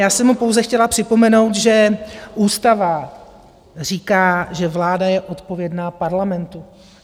Já jsem mu pouze chtěla připomenout, že ústava říká, že vláda je odpovědná Parlamentu.